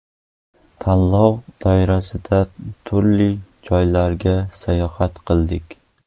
Tanlov doirasida turli joylarga sayohat qildik.